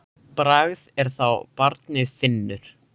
Bragð er að þá barnið finnur!